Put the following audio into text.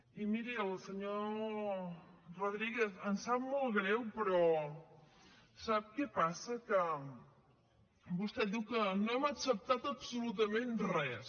i miri al senyor rodríguez em sap molt greu però sap què passa que vostè diu que no hem acceptat absolutament res